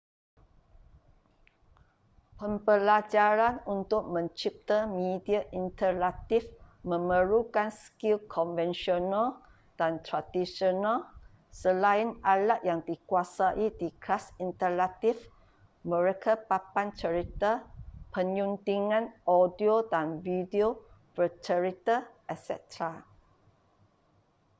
pembelajaran untuk mencipta media interaktif memerlukan skil konvensional dan tradisional selain alat yang dikuasai di kelas interaktif mereka papan cerita penyuntingan audio dan video bercerita etc.